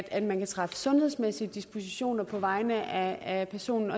at man kan træffe sundhedsmæssige dispositioner på vegne af personen